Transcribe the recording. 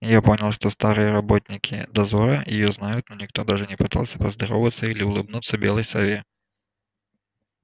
я понял что старые работники дозора её знают но никто даже не пытался поздороваться или улыбнуться белой сове